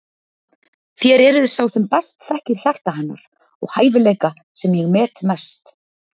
Þér eruð sá sem best þekkir hjarta hennar og hæfileika sem ég met mest.